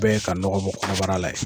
bɛɛ ye ka nɔgɔ bɔ kɔnɔbara la ye.